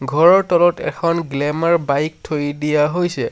ঘৰৰ তলত এখন গ্লেমাৰ বাইক থৈ দিয়া হৈছে।